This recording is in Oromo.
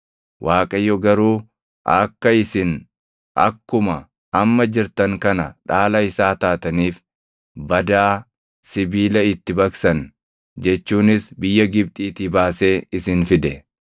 Waaqayyo garuu akka isin akkuma amma jirtan kana dhaala isaa taataniif badaa sibiila itti baqsan jechuunis biyya Gibxiitii baasee isin fide.